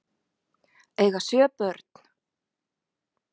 Eiga sjö börn